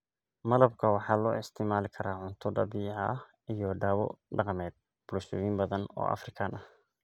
Malabka waxaa loo isticmaali karaa cunto dabiici ah iyo dawo dhaqameed bulshooyin badan oo Afrikaan ah.